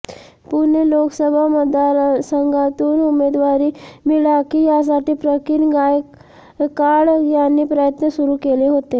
पुणे लोकसभा मतदारसंघातून उमेदवारी मिळाकी यासाठी प्रकीण गायककाड यांनी प्रयत्न सुरू केले होते